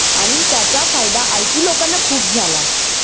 आणि त्याचा फायदा IT लोकांना खूप झाला.